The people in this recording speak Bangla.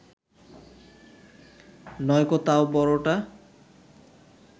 নয়কো তাও বড়টা